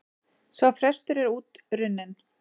Sá frestur er út runninn.